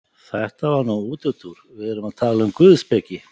Þetta var nú útúrdúr, við erum að tala um guðspeki.